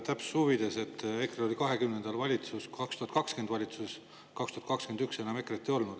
Täpsuse huvides: EKRE oli 2020 valitsuses, 2021 enam EKRE-t ei olnud.